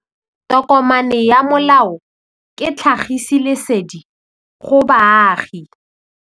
Tokomane ya molao ke tlhagisi lesedi go baagi.